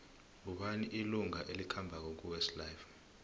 ngubani ilunga elikhambako kuwest life